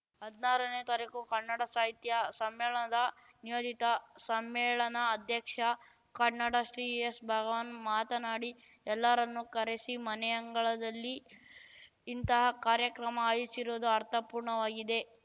ಹದ್ನಾರನೇ ತಾರಿಕುಕನ್ನಡ ಸಾಹಿತ್ಯ ಸಮ್ಮೇಳದ ನಿಯೋಜಿತ ಸಮ್ಮೇಳನಾಧ್ಯಕ್ಷ ಕನ್ನಡಶ್ರೀ ಎಸ್‌ಭಗವಾನ್‌ ಮಾತನಾಡಿ ಎಲ್ಲರನ್ನೂ ಕರೆಸಿ ಮನೆಯಂಗಳದಲ್ಲಿ ಇಂತಹ ಕಾರ್ಯಕ್ರಮ ಆಯೋಜಿಸಿರುವುದು ಅರ್ಥಪೂರ್ಣವಾಗಿದೆ